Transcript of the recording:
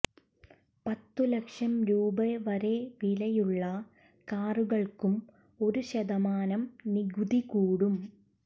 പത്തു ലക്ഷം രൂപ വരെ വിലയുള്ള കാറുകള്ക്കും ഒരു ശതമാനം നികുതി കൂടും